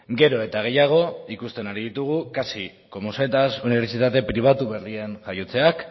gero eta gehiago ikusten ari ditugu casi como setas unibertsitate pribatu berrien jaiotzeak